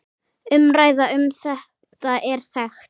Umræða um þetta er þekkt.